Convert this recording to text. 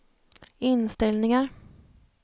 inställningar